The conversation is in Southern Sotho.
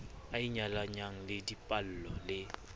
a inyalanyang le dipallo le